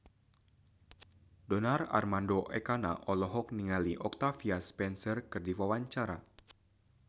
Donar Armando Ekana olohok ningali Octavia Spencer keur diwawancara